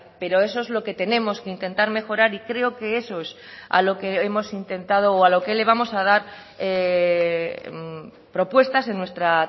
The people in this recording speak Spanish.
pero eso es lo que tenemos que intentar mejorar y creo que eso es a lo que hemos intentado o a lo que le vamos a dar propuestas en nuestra